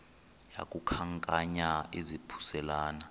yaku khankanya izaphuselana